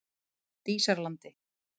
Dísarlandi